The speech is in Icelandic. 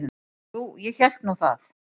Jú, ég hélt nú það.